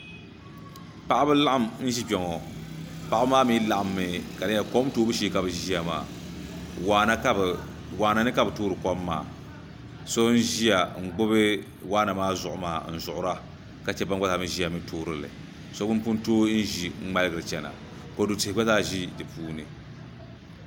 paɣiba laɣim n-ʒi kpe ŋɔ paɣiba mi laɣimmi ka di nyɛla kom toobu shee ka bɛ ʒia maa waana ni ka bɛ toori kom maa so n-ʒia n-gbubi waana maa zuɣu maa n-zuɣira ka che ban gba zaa mi ʒia n-toori li shɛba n-pun tooi ʒi n-ŋmaligiri chana kodu tihi gba zaa ʒe di puuni